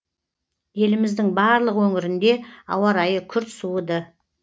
еліміздің барлық өңірінде ауа райы күрт суыды